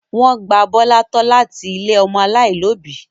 Wọ́n gba Bọ́lá tọ́ láti ilé àwọn ọmọ aláìlóòbí.